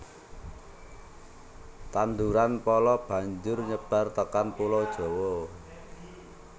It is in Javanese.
Tanduran pala banjur nyebar tekan pulau Jawa